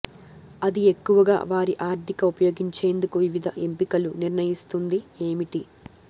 అది ఎక్కువగా వారి ఆర్థిక ఉపయోగించేందుకు వివిధ ఎంపికలు నిర్ణయిస్తుంది ఏమిటి